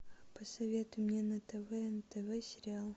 посоветуй мне на тв нтв сериал